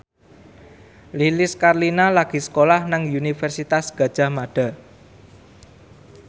Lilis Karlina lagi sekolah nang Universitas Gadjah Mada